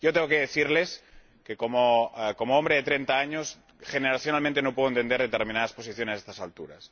Yo tengo que decirles que, como hombre de treinta años, generacionalmente no puedo entender determinadas posiciones a estas alturas.